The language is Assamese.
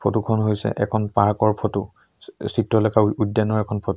ফটো খন হৈছে এখন পাৰ্ক ৰ ফটো চি চিত্ৰলেখা উদ্যানৰ এখন ফটো ।